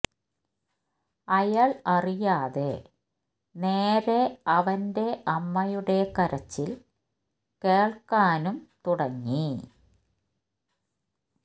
അയാൾ അറിയാതെ നേരെ അവന്റെ അമ്മയുടെ കരച്ചിൽ കേൾക്കാനും കേൾക്കാനും തുടങ്ങി